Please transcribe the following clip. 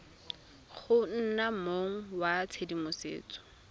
go nna mong wa tshedimosetso